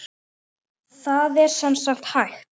Það er sem sagt hægt.